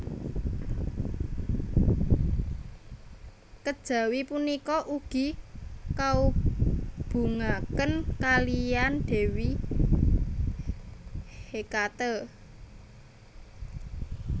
Kejawi punika ugi kaubungaken kalihan dewi Hekate